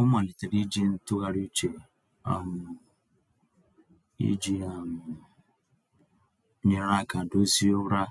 Ọ malitere iji ntụgharị uche um iji um nyere aka dozie ụra